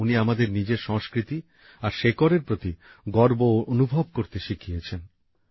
উনি আমাদের নিজের সংস্কৃতি আর শেকড়ের প্রতি গর্ব অনুভব করতে শিখিয়েছেন